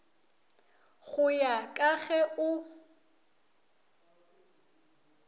go ya ka ge o